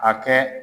A kɛ